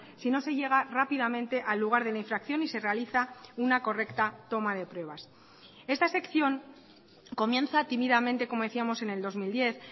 si no se llega rápidamente al lugar de la infracción y se realiza una correcta toma de pruebas esta sección comienza tímidamente como decíamos en el dos mil diez